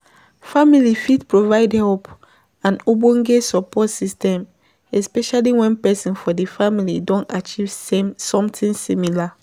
Family fit provide help and ogbonge support system especially when person for di family don achive same something similar